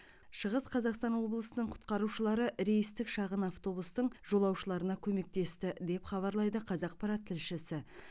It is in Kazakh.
шығыс қазақстан облысының құтқарушылары рейстік шағын автобустың жолаушыларына көмектесті деп хабарлайды қазақпарат тілшісі